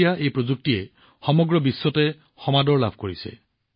এতিয়া এই কৌশল সমগ্ৰ বিশ্বতে ভাল পোৱা হৈছে